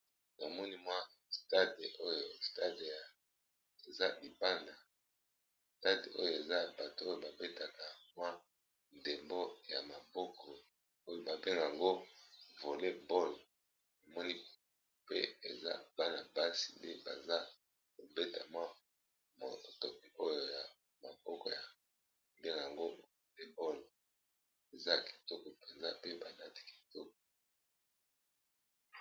Na moni mwa stade oyo stade eza libanda stade oyo eza bato oyo ba betaka mwa ndembo ya maboko. Oyo ba bengak'ango voley ball, nacmoni pe eza bana basi nde baza kovbeta mwa motoki oyo ya maboko ya delango voley ball eza kitoko penza pe ba lati kitoko .